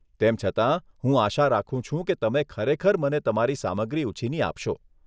તેમ છતાં, હું આશા રાખું છું કે તમે ખરેખર મને તમારી સામગ્રી ઉછીની આપશો.